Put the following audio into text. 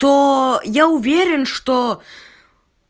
то я уверен что